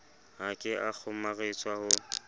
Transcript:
ha ke a kgomaretswa ho